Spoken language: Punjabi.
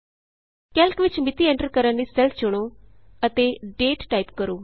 ਕੈਲਕ ਵਿਚ ਮਿਤੀ ਐਂਟਰ ਕਰਨ ਲਈ ਸੈੱਲ ਚੁਣੋ ਅਤੇ ਦਾਤੇ ਟਾਈਪ ਕਰੋ